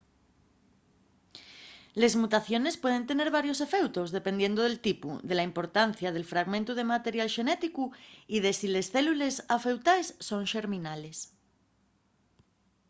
les mutaciones pueden tener varios efeutos dependiendo del tipu de la importancia del fragmentu de material xenético y de si les célules afeutaes son xerminales